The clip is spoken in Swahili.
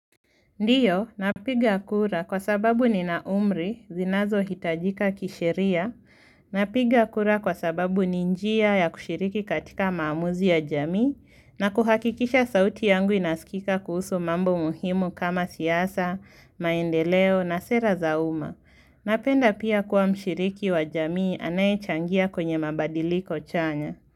Ndiyo, napiga kura kwa sababu nina umri zinazo hitajika kisheria, napiga kura kwa sababu ni njia ya kushiriki katika maamuzi ya jamii na kuhakikisha sauti yangu inaskika kuhusu mambo muhimu kama siasa, maendeleo na sera za uma. Napenda pia kuwa mshiriki wa jamii anaye changia kwenye mabadiliko chanya.